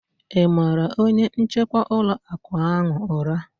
Ị mara onye njikwa ụlọ akụ ahụ ụra?